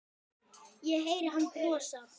Ég heyri hann brosa.